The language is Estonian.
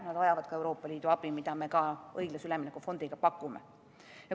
Nad vajavad ka Euroopa Liidu abi, mida me õiglase ülemineku fondiga pakumegi.